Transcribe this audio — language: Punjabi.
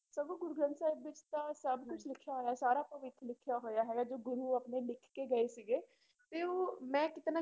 ਸਗੋਂ ਗੁਰੂ ਗ੍ਰੰਥ ਸਾਹਿਬ ਵਿੱਚ ਤਾਂ ਸਭ ਕੁਛ ਲਿਖਿਆ ਹੋਇਆ ਸਾਰਾ ਭਵਿੱਖ ਲਿਖਿਆ ਹੋਇਆ ਹੈਗਾ ਜੋ ਗੁਰੂ ਆਪਣੇ ਲਿਖ ਕੇ ਗਏ ਸੀਗੇ, ਤੇ ਉਹ ਮੈਂ ਕਿਤੇ ਨਾ